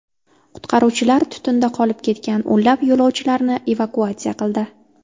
Qutqaruvchilar tutunda qolib ketgan o‘nlab yo‘lovchilarni evakuatsiya qildi.